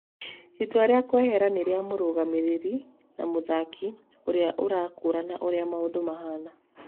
"Itua rĩa kwehera nĩ rĩa mũrũgamĩriri na mũthaki ũrĩa ũrakũrana ũrĩa maũndũ mahana.